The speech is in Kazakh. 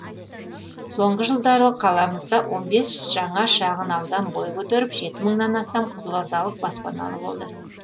соңғы жылдары қаламызда жаңа шағын аудан бой көтеріп мыңнан астам қызылордалық баспаналы болды